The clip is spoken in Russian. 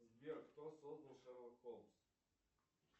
сбер кто создал шерлок холмс